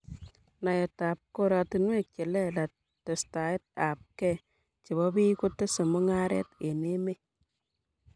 Naet ab koratinwek che lelach testaiab kei chebo piik kotese mungaret eng' emet